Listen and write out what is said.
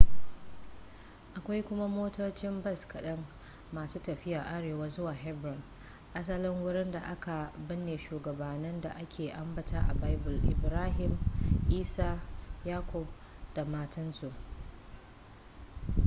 akwai kuma motocin bas kaɗan masu tafiya arewa zuwa hebron asalin wurin da aka binne shugabanni da aka ambata a baibul ibrahim isa yakub da matansu